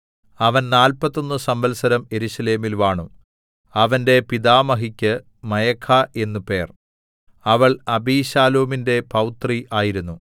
അവൻ നാല്പത്തൊന്ന് സംവത്സരം യെരൂശലേമിൽ വാണു അവന്റെ പിതാമഹിക്ക് മയഖാ എന്ന് പേർ അവൾ അബിശാലോമിന്റെ പൗത്രി ആയിരുന്നു